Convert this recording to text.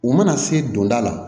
U mana se donda la